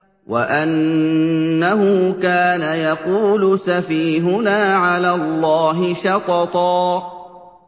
وَأَنَّهُ كَانَ يَقُولُ سَفِيهُنَا عَلَى اللَّهِ شَطَطًا